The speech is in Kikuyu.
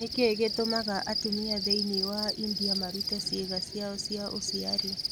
Nĩ kĩĩ gĩtũmaga atumia thĩinĩ wa India marute ciĩga ciao cia ũciari?